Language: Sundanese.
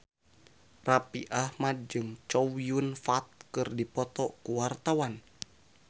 Raffi Ahmad jeung Chow Yun Fat keur dipoto ku wartawan